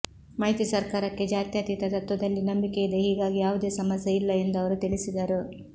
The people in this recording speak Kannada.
ಮೈತ್ರಿ ಸರ್ಕಾರಕ್ಕೆ ಜಾತ್ಯತೀತ ತತ್ವದಲ್ಲಿ ನಂಬಿಕೆಯಿದೆ ಹೀಗಾಗಿ ಯಾವುದೇ ಸಮಸ್ಯೆ ಇಲ್ಲ ಎಂದು ಅವರು ತಿಳಿಸಿದರು